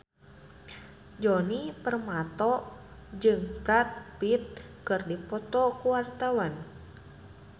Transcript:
Djoni Permato jeung Brad Pitt keur dipoto ku wartawan